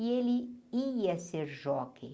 E ele ia ser jockey.